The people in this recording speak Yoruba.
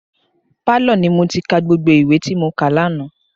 Pálọ̀ ni mo ti ka gbogbo ìwé tí mo kà lánàá.